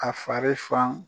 A fari fan